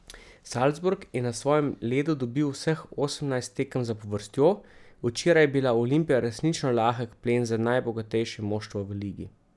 Salzburg je na svojem ledu dobil vseh osemnajst tekem zapovrstjo, včeraj je bila Olimpija resnično lahek plen za najbogatejše moštvo v ligi.